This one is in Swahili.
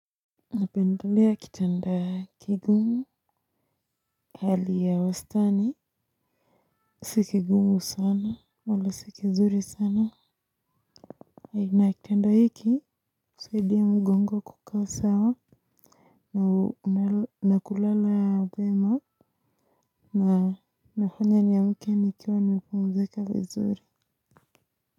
Napendelea kitanda kigumu hali ya wastani. Si kigumu sana wala si kizuri sana Hina kitanda hiki usaidia mgongo kukaa sawa na kulala vyema na ufanya niamke nikiwa nimepumzika vizuri.